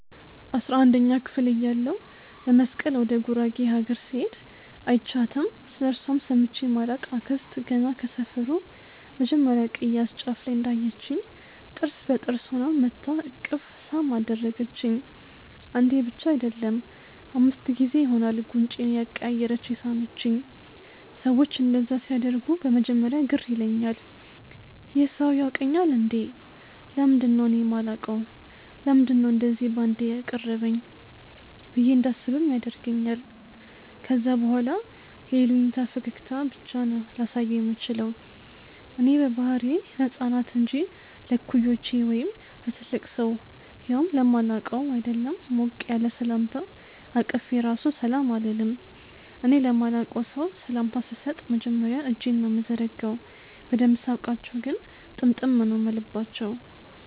አስራንደኛ ክፍል እያለሁ ለመስቀል ወደ ጉራጌ አገር ስሄድ÷ አይችያትም ስለእርሷም ሰምቼ ማላቅ አክስት ገና ከሰፈሩ መጀመርያ ቅያስ ጫፍ ላይ እንዳየቺኝ ጥርስ በጥርስ ሆና መጥታ እቅፍ ሳም አደረገቺኝ። አንዴ ብቻ አይደለም÷ አምስት ጊዜ ይሆናል ጉንጬን እያቀያየረች የሳመቺኝ። ሰዎች እንደዛ ሲያደርጉ በመጀመርያ ግር ይለኛል- "ይህ ሰው ያውቀኛል እንዴ? ለምንድነው እኔ ማላውቀው? ለምንድነው እንደዚ ባንዴ ያቀረበኝ?" ብዬ እንዳስብም ያደርገኛል ከዛ በኋላ የይሉኝታ ፈገግታ ብቻ ነው ላሳየው ምችለው። እኔ በባህሪዬ ለህፃናት እንጂ ለእኩዮቼ ወይም ለትልቅ ሰው ያውም ለማላውቀው ÷ አይደለም ሞቅ ያለ ሰላምታ አቅፌ ራሱ ሰላም አልልም። እኔ ለማላቀው ሰው ሰላምታ ስሰጥ መጀመርያ እጄን ነው ምዘረጋው። በደንብ ሳውቃቸው ግን ጥምጥም ነው ምልባቸው።